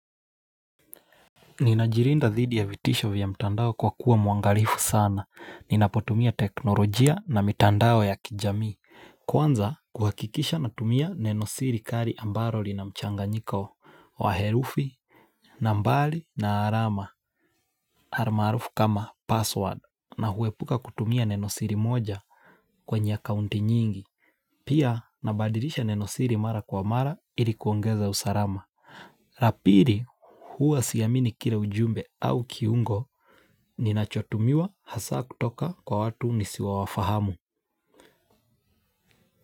Ninajilinda dhidi ya vitisho vya mtandao kwa kuwa mwangalifu sana. Ninapotumia teknolojia na mtandao ya kijamii. Kwanza, kuhakikisha natumia neno siri kali ambalo linamchanganyiko wa herufi, nambari na alama. Almarufu kama "password" na huepuka kutumia neno siri moja kwenye akaunti nyingi. Pia nabadilisha neno siri mara kwa mara ili kuongeza usalama. La pili, huwa siamini kila ujumbe au kiungo Ninachotumiwa hasa kutoka kwa watu nisiowafahamu.